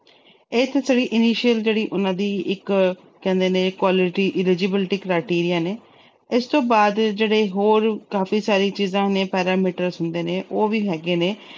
ਇਸ ਤਰ੍ਹਾਂ initial ਜਿਹੜੀ ਉਹਨਾਂ ਦੀ ਕਹਿੰਦੇ ਨੇ quality eligibility criteria ਨੇ। ਇਸ ਤੋਂ ਬਾਅਦ ਜਿਹੜੇ ਹੋਰ ਕਾਫੀ ਸਾਰੀਆਂ ਚੀਜਾਂ ਨੇ, parameters ਹੁੰਦੇ ਨੇ, ਉਹ ਵੀ ਹੈਗੇ ਨੇ।